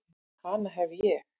Hana hef ég.